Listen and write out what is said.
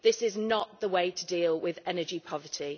This is not the way to deal with energy poverty.